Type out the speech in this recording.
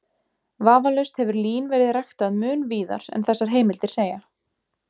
Vafalaust hefur lín verið ræktað mun víðar en þessar heimildir segja.